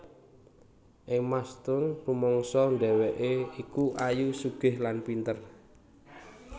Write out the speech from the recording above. Emma Stone rumangsa dhewekke iki ayu sugih lan pinter